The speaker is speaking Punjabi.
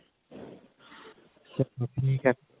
ਚੱਲੋ ਠੀਕ ਹੈ